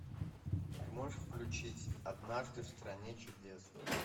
ты можешь включить однажды в стране чудес